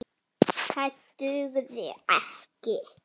Það dugði ekki.